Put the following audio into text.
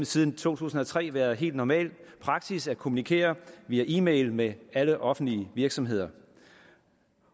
siden to tusind og tre været helt normal praksis at kommunikere via e mail med alle offentlige virksomheder